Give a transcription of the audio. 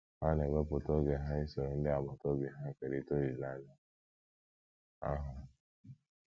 Ha na - ewepụta oge ha isoro ndị agbata obi ha kerịta olileanya ahụ.